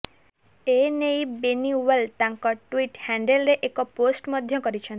ଏ ନେଇ ବେନିୱାଲ ତାଙ୍କ ଟ୍ୱିଟ୍ ହ୍ୟାଣ୍ଡଲରେ ଏକ ପୋଷ୍ଟ ମଧ୍ୟ କରିଛନ୍ତି